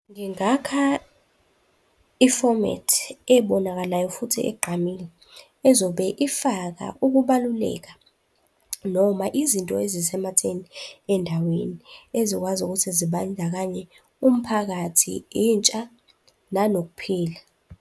Ngingakha ifomethi ebonakalayo futhi egqamile ezobe ifaka ukubaluleka noma izinto ezisematheni endaweni, ey'zokwazi ukuthi zibandakanye umphakathi, intsha, nanokuphila.